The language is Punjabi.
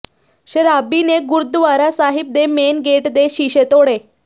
ਸ਼ਰਾਬੀ ਨੇ ਗੁਰਦੁਆਰਾ ਸਾਹਿਬ ਦੇ ਮੇਨ ਗੇਟ ਦੇ ਸ਼ੀਸ਼ੇ ਤੋੜੇ